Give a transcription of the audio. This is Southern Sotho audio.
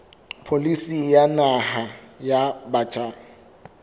pholisi ya naha ya batjha